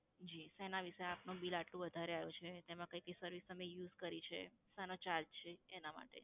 જી શેનાં લીધે આપનું bill આટલું વધારે આવ્યું છે, એમાં કઈ કઈ service તમે use કરી છે, શાના charge છે એનાં માટે